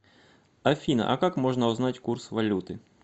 афина а как можно узнать курс валюты